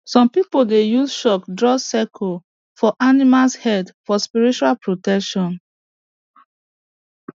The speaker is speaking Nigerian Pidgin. some people dey use chalk draw circle for animals head for spiritual protection